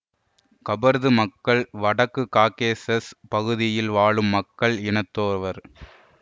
கபர்து மக்கள் வடக்குக் காக்கேசஸ் பகுதியில் வாழும் மக்கள் இனத்தோராவர்